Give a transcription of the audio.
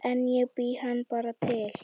En ég bý hann bara til